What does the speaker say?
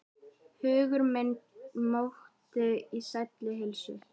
Hugur minn mókti í sælli leiðslu.